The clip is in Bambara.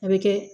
A bɛ kɛ